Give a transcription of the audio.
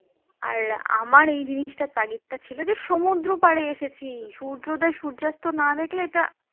আর আমার এই জিনিসটার তাগিদ ছিল যে সমুদ্র পারে এসেছি সূর্যোদয় সূর্যাস্ত না দেখলে এটা